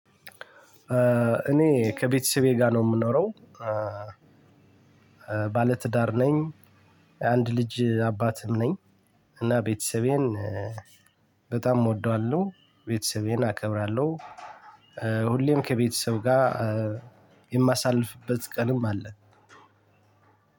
እኔ ከቤተሰቤ ጋር ነው የምኖረው። ባለትዳር ነኝ። አንድ ልጅ አባትም ነኝ። እና ቤተሰቤን በጣም እወደዋለሁ። ቤተሰቤን አከብራለሁ። ሁሌም ከቤተሰብ ጋር። የማሳልፍበት ቀንም አለ።